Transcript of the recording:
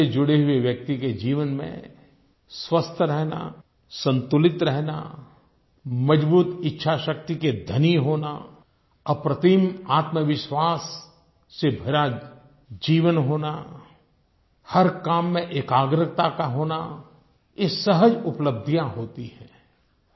योग से जुड़े हुये व्यक्ति के जीवन में स्वस्थ रहना संतुलित रहना मज़बूत इच्छाशक्ति के धनी होना अप्रतिम आत्मविश्वास से भरा जीवन होना हर काम में एकाग्रता का होना ये सहज उपलब्धियां होती हैं